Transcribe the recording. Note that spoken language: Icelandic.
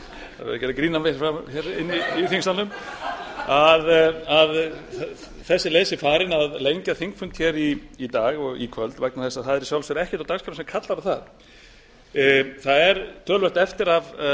mótmæla því að þessi leið sé farin að lengja þingfund í dag og í kvöld vegna þess að það er í sjálfu sér ekkert á dagskrá sem kallar á það það er töluvert eftir af